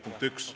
Punkt 1.